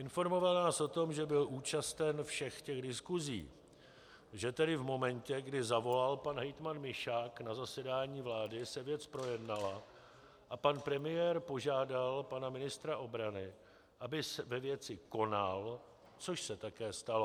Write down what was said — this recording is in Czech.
Informoval nás o tom, že byl účasten všech těch diskusí, že tedy v momentě, kdy zavolal pan hejtman Mišák, na zasedání vlády se věc projednala a pan premiér požádala pana ministra obrany, aby ve věci konal, což se také stalo.